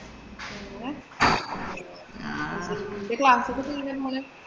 നിന്‍റെ class ഒക്കെ